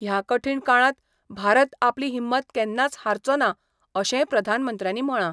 ह्या कठीण काळांत भारत आपली हिम्मत केन्नाच हारचो ना अशेंय प्रधानमंत्र्यांनी म्हळां.